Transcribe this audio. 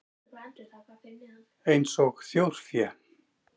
Eins og þjórfé?